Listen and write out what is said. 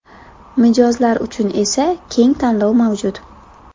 Mijozlar uchun esa keng tanlov mavjud.